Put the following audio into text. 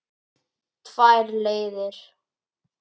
Tvær leiðir.